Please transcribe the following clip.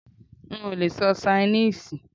N ò lee sọ Ṣainíìsì